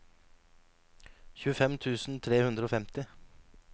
tjuefem tusen tre hundre og femti